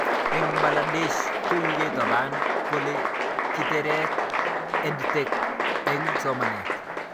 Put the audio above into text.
Eng' Bangladesh ko kikitopen kole kitaret EdTech eng' somanet